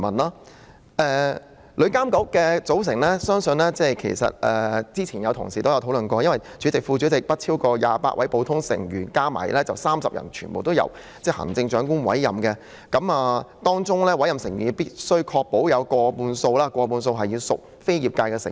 至於旅監局的組成，早前已有同事提出討論，其主席、副主席及不超過28位普通成員合共30人，全部由行政長官委任，而在委任成員中必須確保有過半數屬業界成員。